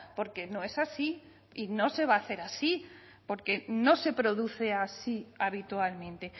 porque no es así y no se va a hacer así porque no se produce así habitualmente